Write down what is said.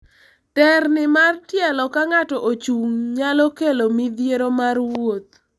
terni mar tielo ka ng'ato ochung' nyalo kelo midhiero mar wuoth